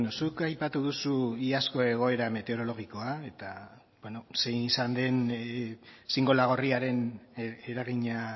zuk aipatu duzu iazko egoera meteorologikoa eta zein izan den xingola gorriaren eragina